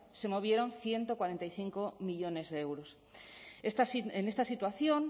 se movieron ciento cuarenta y cinco millónes de euros en esta situación